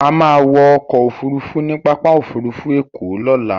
A máa wọ ọkọ òfurufú ní pápá òfurufú ẹ̀kọ́ lọ́la.